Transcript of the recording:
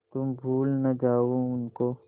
तुम भूल न जाओ उनको